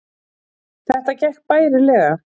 Þetta gekk bærilega